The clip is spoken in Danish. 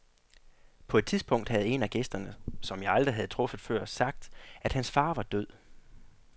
På et tidspunkt havde en af gæsterne, som jeg aldrig havde truffet før, sagt, at hans far var død.